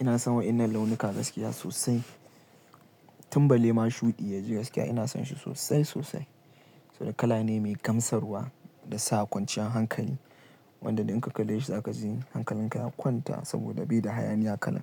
Ina son waɗannan launuka gaskiya sosai. Tum balle ma shuɗi yaji gaskiya ina son shi sosai sosai. Sabida kala ne mai gamsarwa, da sa kwanciyar hankali wanda idan ka kalle shi za ka ji hankalinka ya kwanta, saboda bai da hayaniya kalan.